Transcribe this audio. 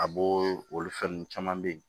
A bo olu fɛn nunnu caman be yen